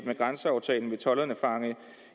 med grænseaftalen vil tolderne fange